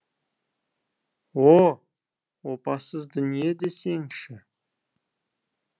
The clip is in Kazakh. о опасыз дүние десеңші